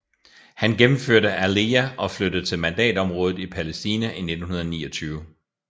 Han gennemførte aliyah og flyttede til mandatområdet i Palæstina i 1929